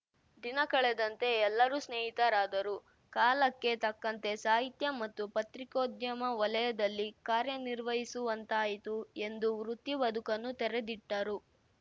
ದಿನ ಕಳೆದಂತೆ ಎಲ್ಲರೂ ಸ್ನೇಹಿತರಾದರು ಕಾಲಕ್ಕೆ ತಕ್ಕಂತೆ ಸಾಹಿತ್ಯ ಮತ್ತು ಪತ್ರಿಕೋದ್ಯಮ ವಲಯದಲ್ಲಿ ಕಾರ್ಯ ನಿರ್ವಹಿಸುವಂತಾಯಿತು ಎಂದು ವೃತ್ತಿ ಬದುಕನ್ನು ತೆರೆದಿಟ್ಟರು